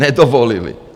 Nedovolili.